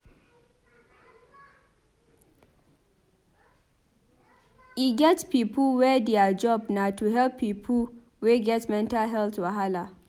E get pipo wey their job na to help pipo wey get mental health wahala.